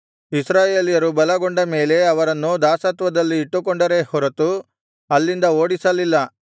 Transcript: ಇಸ್ರಾಯೇಲ್ಯರು ಬಲಗೊಂಡ ಮೇಲೆ ಅವರನ್ನು ದಾಸತ್ವದಲ್ಲಿ ಇಟ್ಟುಕೊಂಡರೇ ಹೊರತು ಅಲ್ಲಿಂದ ಓಡಿಸಲಿಲ್ಲ